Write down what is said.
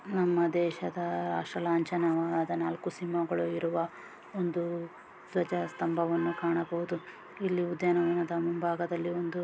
ನಮ್ಮ ದೇಶದ ರಾಷ್ಟ್ರ ಲಾಂಚನವಾದ ನಾಲ್ಕು ಸಿಂಹಗಳು ಇರುವ ಒಂದು ಧ್ವಜ ಸ್ತಂಭವನ್ನು ಕಾಣಬಹುದು. ಇಲ್ಲಿ ಉದ್ಯಾನವನ ಮುಂಭಾಗದಲ್ಲಿ ಒಂದು--